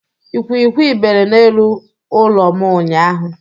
Ikwikwi bere n'elu ụlọ m ụnyaahụ.